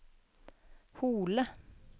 Hole